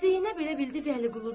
Zeynəb elə bildi Vəliquludur.